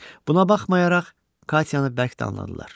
Buna baxmayaraq, Katyanı bərk danladılar.